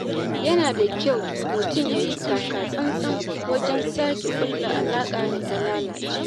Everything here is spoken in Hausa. Yana da kyau mutum yayi taka tsantsan wajen sake ƙulla alaƙar da ta lalace.